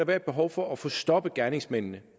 være et behov for at få stoppet gerningsmændene